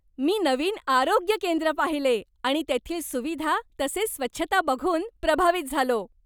मी नवीन आरोग्य केंद्र पाहिले आणि तेथील सुविधा तसेच स्वच्छता बघून प्रभावित झालो.